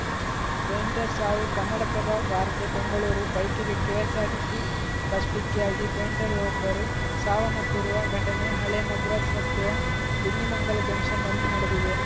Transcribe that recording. ಪೆಂಟರ್‌ ಸಾವು ಕನ್ನಡಪ್ರಭ ವಾರ್ತೆ ಬೆಂಗಳೂರು ಬೈಕ್‌ಗೆ ಕೆಎಸ್ಸಾರ್ಟಿಸಿ ಬಸ್‌ ಡಿಕ್ಕಿಯಾಗಿ ಪೆಂಟರ್‌ವೊಬ್ಬರು ಸಾವನ್ನಪ್ಪಿರುವ ಘಟನೆ ಹಳೆ ಮದ್ರಾಸ್‌ ರಸ್ತೆಯ ಬಿನ್ನಿಮಂಗಲ ಜಂಕ್ಷನ್‌ನಲ್ಲಿ ನಡೆದಿದೆ